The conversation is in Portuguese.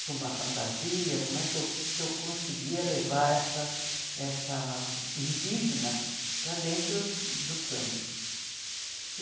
com uma fantasia, como é que eu que eu conseguia levar essa essa indígena para dentro do samba.